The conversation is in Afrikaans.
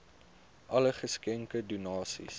alle geskenke donasies